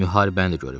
Müharibəni də görüb.